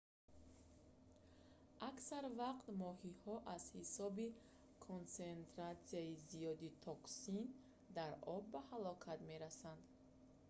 аксар вақт моҳиҳо аз ҳисоби консентратсияи зиёди токсин дар об ба ҳалокат мерасанд